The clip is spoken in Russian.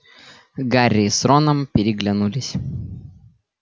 гарри с роном переглянулись